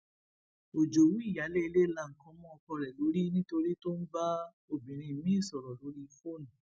òjòwú ìyáálé ilé la nǹkan mọ ọkọ rẹ lórí nítorí tó ń bá obìnrin miín sọrọ lórí fóònù